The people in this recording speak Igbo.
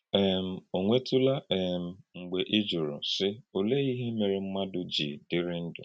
um Ọ̀ nwètùlá um mgbe ị jùrù, sị: “Ọ̀lee íhè mèré mmádụ jì dịrị̀ ndú?”